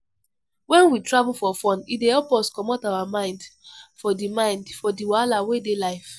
When we travel for fun, e dey help us comot our mind for di mind for di wahala wey dey life